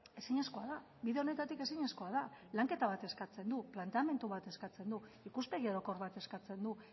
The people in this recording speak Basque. ezinezkoa da bide honetatik ezinezkoa da lanketa bat eskatzen du planteamendu bat eskatzen du ikuspegi orokor bat eskatzen du